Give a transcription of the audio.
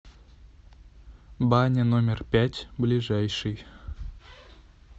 баня номер пять ближайший